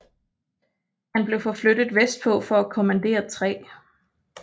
Han blev forflyttet vestpå for at kommandere 3